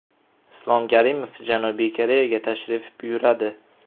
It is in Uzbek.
Islom Karimov Janubiy Koreyaga tashrif buyuradi.